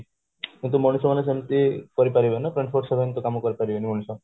କିନ୍ତୁ ମଣିଷ ମାନେ ସେମିତି କରିପାରିବେ ନା କାମ କରିପାରିବେନି ମଣିଷ